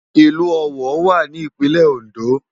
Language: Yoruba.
Ilù Owo wá ni Ipinlè Óndó